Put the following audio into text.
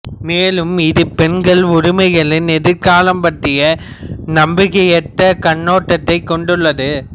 மேலும் இது பெண் உரிமைகளின் எதிர்காலம் பற்றிய நம்பிக்கையற்ற கண்ணோட்டத்தைக் கொண்டுள்ளது